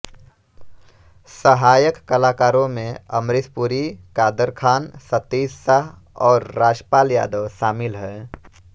सहायक कलाकारों में अमरीश पुरी कादर ख़ान सतीश शाह और राजपाल यादव शामिल हैं